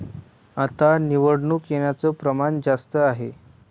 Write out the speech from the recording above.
आता निवडून येण्याचं प्रमाण जास्त आहे.